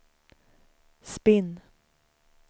spinn